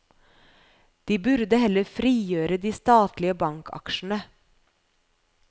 De burde heller frigjøre de statlige bankaksjene.